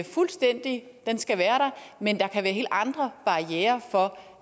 fuldstændig den skal være der men der kan være helt andre barrierer for